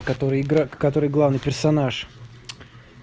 который игра который главный персонаж